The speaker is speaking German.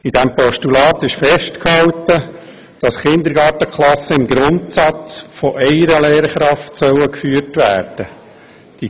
In diesem Postulat wurde festgehalten, dass Kindergarten-Klassen im Grundsatz von einer einzigen Lehrkraft geführt werden sollen.